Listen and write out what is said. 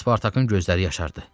Spartakın gözləri yaşardı.